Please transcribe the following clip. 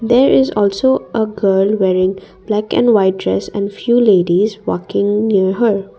there is also a girl wearing black and white dress and few ladies walking near her.